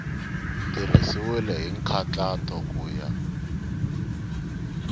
tirhisiwile hi nkhaqato ku ya